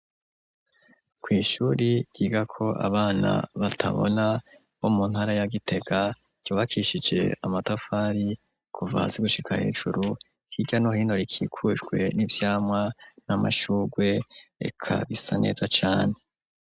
Kw'ishuri giga ko abana batabona bo mu ntara ya gitega ryubakishije amatafari kuvazi gushika hejuru kirya no hino rikikujwe n'ivyamwa n'amashurwe ekabisa neza cane.